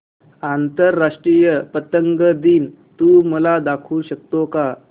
आंतरराष्ट्रीय पतंग दिन तू मला दाखवू शकतो का